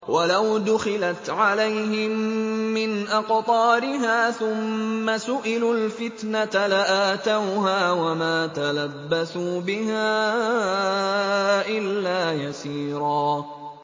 وَلَوْ دُخِلَتْ عَلَيْهِم مِّنْ أَقْطَارِهَا ثُمَّ سُئِلُوا الْفِتْنَةَ لَآتَوْهَا وَمَا تَلَبَّثُوا بِهَا إِلَّا يَسِيرًا